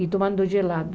E tomando gelado.